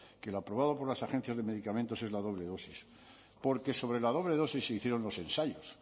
que lo aprobado por las agencias de medicamentos es la doble dosis porque sobre la doble dosis se hicieron los ensayos